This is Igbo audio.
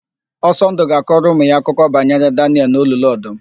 Osọndụ ga-akọrọ ụmụ ya akụkọ banyere Danịel n'olulu ọdụm.